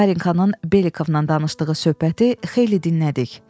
Varenkanın Belikovla danışdığı söhbəti xeyli dinlədik.